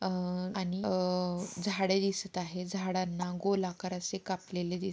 अ आणि अ झाडे दिसत आहेत. झाडांना गोल आकारचे कापलेले दिस --